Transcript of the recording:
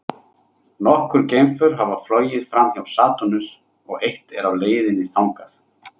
Nokkur geimför hafa flogið framhjá Satúrnusi og eitt er á leið þangað.